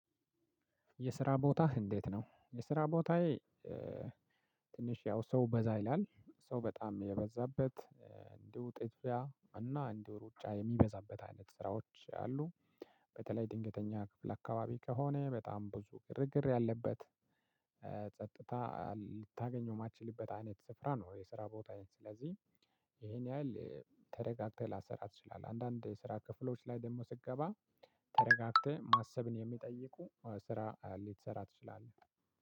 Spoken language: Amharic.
የስራ ቦታህ እንዴት ነው? የስራ ቦታዬ ትንሽ ያው ሰው በዛ ይላል ሰው በጣም የበዛበት እንዲሁ ጥድፍያ እና እንዲሁ ሩጫ የሚበዛበት አይነት ስራዎች አሉ። በተለይ ድንገተኛ ክፍል አካባቢ ከሆነ በጣም ብዙ ግርግር ያለበት ጸጥታ ልታገኘው የማትችልበት አይነት ስፍራ ነው። የስራ ቦታዬን ስለዚህ ይሄን ያህል ተረጋግተህ ላትሰራ ትችላለህ አንዳንድ ስራ ክፍሎች ላይ ደግሞ ስትገባ ተረጋግተህ ማሰብን የሚጠይቁ ስራ ልትሰራ ትችላለህ።